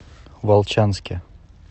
волчанске